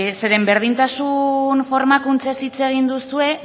zeren berdintasun formakuntzaz hitz egin duzue